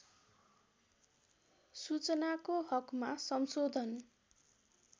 सूचनाको हकमा संशोधन